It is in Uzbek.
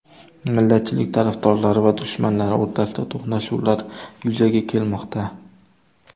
Millatchilik tarafdorlari va dushmanlari o‘rtasida to‘qnashuvlar yuzaga kelmoqda.